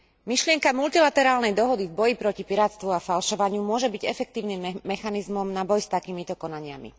Myšlienka multilaterálnej dohody v boji proti pirátstvu a falšovaniu môže byť efektívnym mechanizmom na boj s takýmito konaniami.